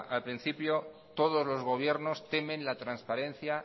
al principio todos los gobiernos temen la transparencia